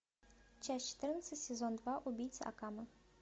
часть четырнадцать сезон два убийца акаме